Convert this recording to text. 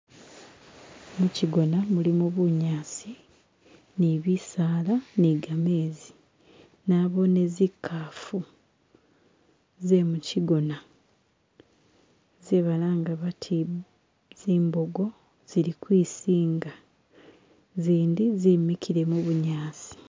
Mushigona mulimo bunyasi nibisaala nigamenzi, naboone nzinkaafu zemukyigoona ze balanga bati zimbogo zili kwisinga zindi zimikile mubunyaasi.